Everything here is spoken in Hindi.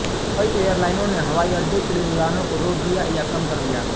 कई एयरलाइनों ने हवाई अड्डे के लिए उडानों को रोक दिया या कम कर दिया